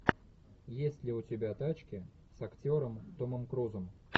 есть ли у тебя тачки с актером томом крузом